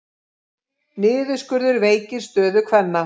Niðurskurður veikir stöðu kvenna